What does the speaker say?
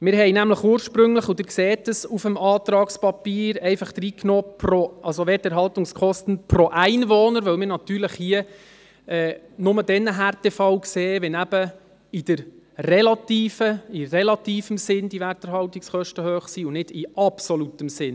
Wir hatten ursprünglich – Sie sehen dies auf dem Antragspapier – «Werterhaltungskosten pro Einwohner» hineingenommen, weil wir nur dann einen Härtefall sehen, wenn die Werterhaltungskosten im relativen Sinn hoch sind und nicht im absoluten Sinn.